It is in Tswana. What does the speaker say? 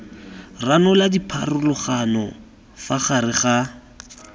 ranola dipharologano fa gare ga